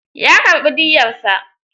Ya karɓi diyyarsa.